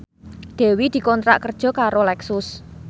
Dewi dikontrak kerja karo Lexus